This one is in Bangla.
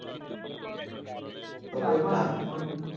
তবে আমার,